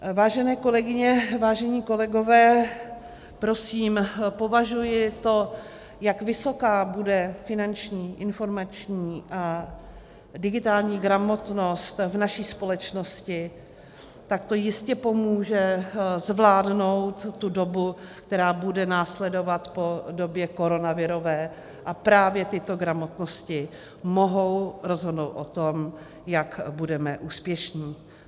Vážené kolegyně, vážení kolegové, prosím, považuji to, jak vysoká bude finanční, informační a digitální gramotnost v naší společnosti, tak to jistě pomůže zvládnout tu dobu, která bude následovat po době koronavirové, a právě tyto gramotnosti mohou rozhodnout o tom, jak budeme úspěšní.